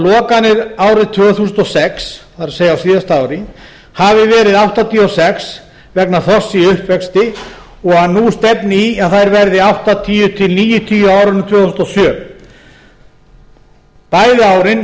lokanir árið tvö þúsund og sex það er á síðasta ári hafi verið áttatíu og sex vegna þorsks í uppvexti og að nú stefni í að þær verði áttatíu til níutíu á árinu tvö þúsund og sjö bæði árin